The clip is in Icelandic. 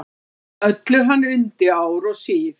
Öllu hann undi ár og síð.